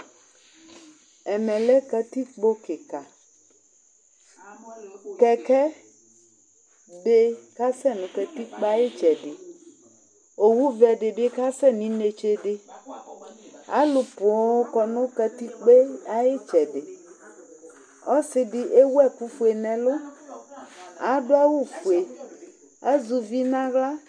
Ɛmɛ lɛ katikpo kɩka Kɛkɛ dɩ kasɛ nʋ katikpo yɛ ayʋ ɩtsɛdɩ Owuvɛ dɩ bɩ kasɛ nʋ inetse dɩ Alʋ poo kɔ nʋ katikpo yɛ ayʋ ɩtsɛdɩ Ɔsɩ dɩ ewu ɛkʋfue nʋ ɛlʋ, adʋ awʋfue, azɛ uvi nʋ aɣla